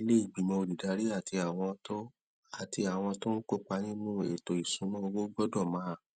àwọn ilé ìgbìmọ olùdarí àti àwọn tó àti àwọn tó ń kó ipa nínú ètò ìṣúnná owó gbódò máa